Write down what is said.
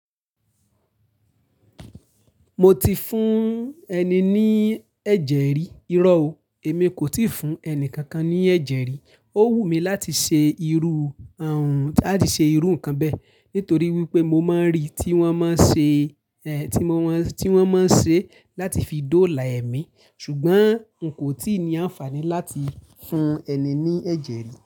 Mo ti fún ẹni ní ẹ̀jẹ̀ rí, irọ́ o, èmi kò tíì fún ẹni kankan ní ẹ̀jẹ̀ rí. Ó wùmí láti ṣe irú ààrùn, làtì sẹ irú nǹkan bẹ́ẹ̀ nítorí wípé mo máa ń rí tí wọ́n máa ń ṣe, ẹ, tí wọn má, tí wọ́n máa ń ṣe láti fi dóòlà ẹ̀mí. Ṣùgbọ́n n kò tíì ní àǹfààní láti fún ẹni ní ẹ̀jẹ̀ rí.